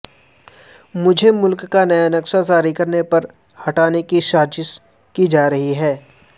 مجھےملک کا نیا نقشہ جاری کرنے پر ہٹانے کی سازش کی جارہی ہے